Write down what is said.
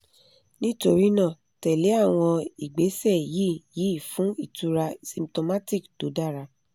nítorí náà tẹ̀ lé àwọn ìgbésẹ̀ yìí yìí fún ìtura symptomatic tó dára